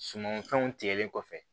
Sumanfɛnw tigɛlen kɔfɛ